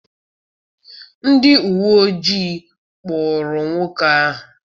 Ndị uwe ojii kpụụrụ nwoke ahụ.